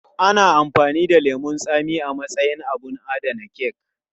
Ana amfani da lemun tsami a matsayin abin adana kek.